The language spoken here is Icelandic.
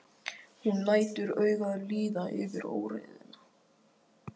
Hún lætur augun líða yfir óreiðuna.